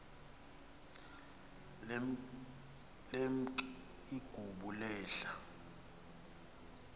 lemk igubu lehl